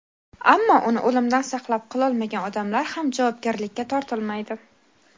ammo uni o‘limdan saqlab qololmagan odamlar ham javobgarlikka tortilmaydi.